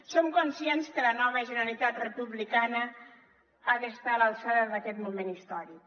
som conscients que la nova generalitat republicana ha d’estar a l’alçada d’aquest moment històric